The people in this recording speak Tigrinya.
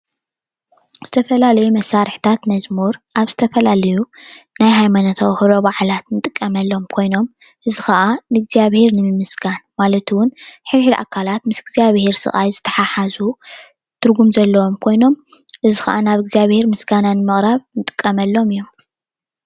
ዝተፈላለዩ መሰርሕታት መዝሙር አብ ዝተፈላለዩ ናይ ሃይማኖታዊ ክብረ በዓላት እንጥቀመሎም ኮይኖም እዚ ከዓ ንእግዛኣብሄር ንምምስጋን ማለት እውን ሕድሕድ ኣካላት ምስ እግዛኣብሄር ስቃይ ዝተሓሓዙ ትርጉም ዘለዎም ኮይኖም እዚ ከዓ ናብ እግዛኣብሄር ምስጋና ንምቅራብ እንጥቀመሎም እዮም፡፡